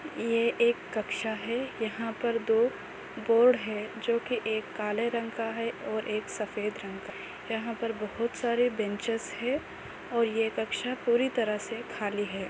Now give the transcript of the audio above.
ये एक कक्षा है यहाँ पर दो बोर्ड है जो की एक काले रंग का है और एक सफ़ेद रंग का है यहाँ पर बहुत सारे बेंचेस है और ये कक्षा पूरी तरह से खाली है।